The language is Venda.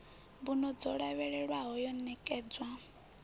mbuno dzo lavhelelwaho yo ṋekedzwa